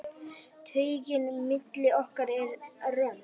Taugin milli okkar er römm.